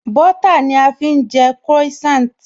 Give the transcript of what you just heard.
Bọ́ọ́tà ni a fi ń jẹ Croissant